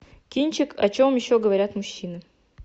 кинчик о чем еще говорят мужчины